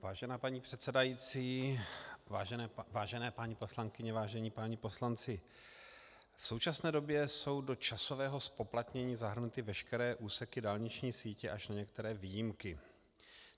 Vážená paní předsedající, vážené paní poslankyně, vážení páni poslanci, v současné době jsou do časového zpoplatnění zahrnuty veškeré úseky dálniční sítě, až na některé výjimky.